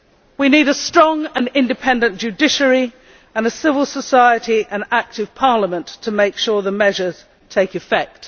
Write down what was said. We need a strong and independent judiciary and a civil society and active parliament to make sure that the measures take effect.